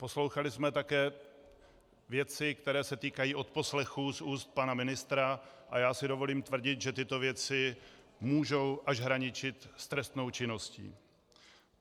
Poslouchali jsme také věci, které se týkají odposlechů z úst pana ministra, a já si dovolím tvrdit, že tyto věci můžou až hraničit s trestnou činností.